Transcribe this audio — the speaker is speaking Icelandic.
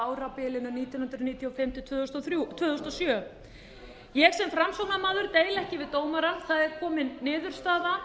árabilinu nítján hundruð níutíu og fimm til tvö þúsund og sjö ég sem framsóknarmaður deili ekki við dómara það er komin niðurstaða